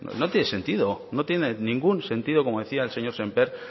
no no tiene sentido no tiene ningún sentido como decía el señor sémper